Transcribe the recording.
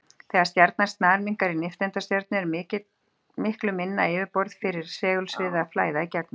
Þegar stjarnan snarminnkar í nifteindastjörnu er miklu minna yfirborð fyrir segulsviðið að flæða í gegnum.